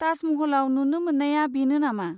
ताज महलआव नुनो मोन्नाया बेनो नामा?